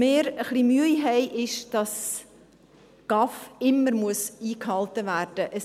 Wir haben ein bisschen Mühe damit, dass ein GAV immer eingehalten werden muss.